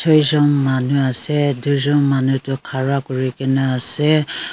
chejont manu ase dui jont manu tu khara kori kina ase.